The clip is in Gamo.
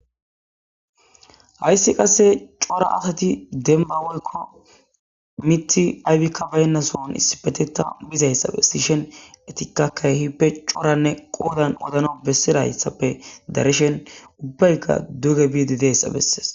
hayssi qasse cora asati demma wolko mitti aybikkabaynnasoon issipeteta bizayssa bes sishen etikakka hippe Coranne qoodan odano bessirayssappe dareshen ubbaykka duge biidi deyssa bessees.